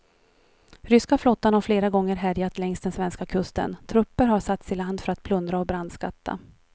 Ryska flottan har flera gånger härjat längs den svenska kusten, trupper har satts i land för att plundra och brandskatta.